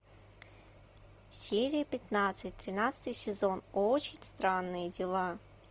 серия пятнадцать тринадцатый сезон очень странные дела